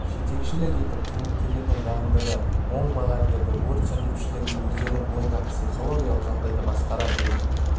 жетекшілік етіп қызметкерлердің дайындығына оң баға берді өрт сөндірушілерге өздерінің бойындағы психологиялық жағдайды басқара білу